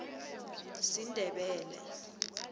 sindebele